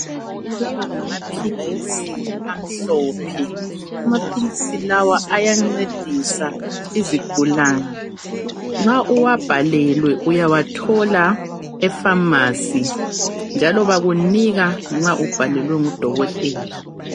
Lawa ngamaphilisi amhlophe, amaphilisi lawa ayancedisa izigulane. Nxa uwabhalelwe uyawathola efamasi njalo bakunika nxa ubhalelwe ngudokotela.